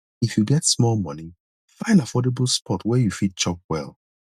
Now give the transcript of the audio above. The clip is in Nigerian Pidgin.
if you get small money find affordable spot where you fit chop well